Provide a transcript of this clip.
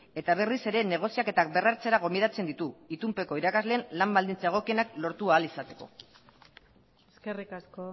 eta berriz ere negoziaketak berrartzera gonbidatzen ditu itunpeko irakasleen lan baldintza egokienak lortu ahal izateko eskerrik asko